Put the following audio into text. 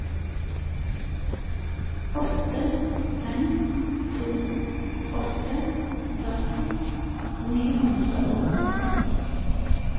åtte fem to åtte førti ni hundre og åtti